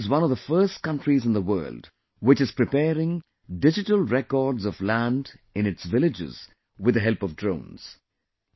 India is one of the first countries in the world, which is preparing digital records of land in its villages with the help of drones